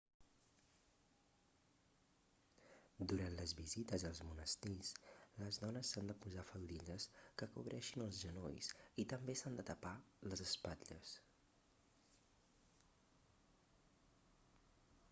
durant les visites als monestirs les dones s'han de posar faldilles que cobreixin els genolls i també s'han de tapar les espatlles